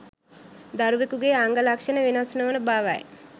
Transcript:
දරුවෙකුගේ අංග ලක්ෂණ වෙනස් නොවන බවයි